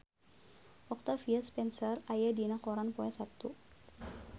Octavia Spencer aya dina koran poe Saptu